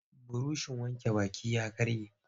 Burushin wanke baki ya karye.